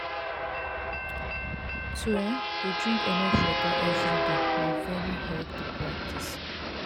to um de drink enough water everyday na very healthy practice